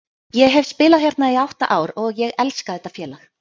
Ég hef spilað hérna í átta ár og ég elska þetta félag.